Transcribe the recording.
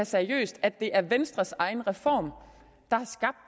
seriøst at det er venstres egen reform